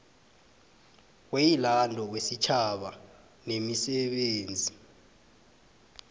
weyilando wesitjhaba nemisebenzi